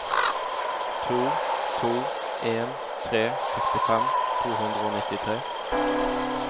to to en tre sekstifem to hundre og nittitre